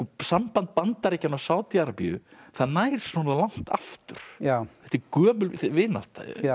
samband Bandaríkjanna og Sádi Arabíu það nær svona langt aftur þetta er gömul vinátta